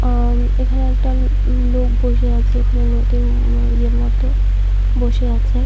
অ এখানে একটা লোক বসে আছে এখানে নদীর ইয়ের মত বসে আছে।